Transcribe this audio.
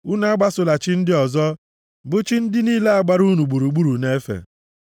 Unu agbasola chi ndị ọzọ, bụ chi ndị niile a gbara unu gburugburu na-efe.